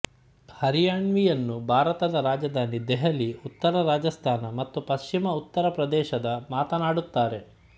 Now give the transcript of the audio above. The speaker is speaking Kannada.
ಹರಿಯಾನ್ವಿಯನ್ನು ಭಾರತದ ರಾಜಧಾನಿ ದೆಹಲಿ ಉತ್ತರ ರಾಜಸ್ಥಾನ ಮತ್ತು ಪಶ್ಚಿಮ ಉತ್ತರ ಪ್ರದೇಶದ ಮಾತನಾಡುತ್ತಾರೆ